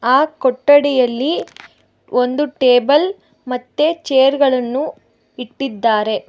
ಆ ಕೊಠಡಿಯಲ್ಲಿ ಒಂದು ಟೇಬಲ್ ಮತ್ತೆ ಚೇರ್ ಗಳನ್ನು ಇಟ್ಟಿದ್ದಾರೆ.